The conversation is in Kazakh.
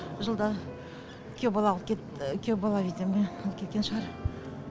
жылда күйеу бала алып кеп күйеу бала видимо алып кеткен шығар